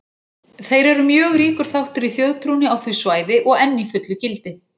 Þeir eru mjög ríkur þáttur í þjóðtrúnni á því svæði og enn í fullu gildi.